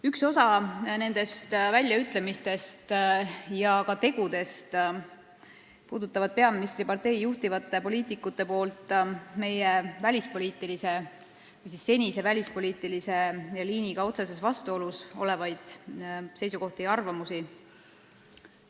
Üks osa nendest väljaütlemistest ja ka tegudest puudutab peaministripartei juhtivate poliitikute seisukohti ja arvamusi, mis on otseses vastuolus meie senise välispoliitilise liiniga.